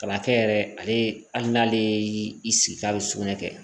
Ka na kɛ yɛrɛ ale hali n'ale y'i sigi k'a bɛ sugunɛ kɛ